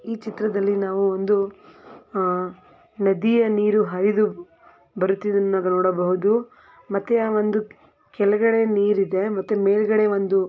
ಈ ಚಿತ್ರದಲ್ಲಿ ನಾವು ಒಂದು ಆಹ್ ನದಿಯ ನೀರು ಹರಿದು ಬರುತ್ತಿರುವುದನ್ನು ನೋಡಬಹುದು ಮತ್ತೆ ಆ ಒಂದು ಕೆಳಗಡೆ ನೀರು ಇದೆ ಮತ್ತೆ ಮೇಲ್ಗಡೆ ಒಂದು--